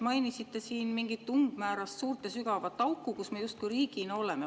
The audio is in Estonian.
Mainisite siin mingit umbmäärast suurt ja sügavat auku, kus me justkui riigina oleme.